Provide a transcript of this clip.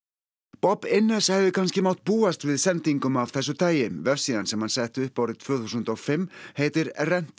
Innes hefði kannski mátt búast við sendingum af þessu tagi vefsíðan sem hann setti upp árið tvö þúsund og fimm heitir